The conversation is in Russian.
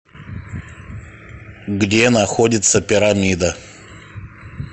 где находится пирамида